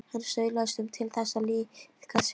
Hann staulaðist um til þess að liðka sig.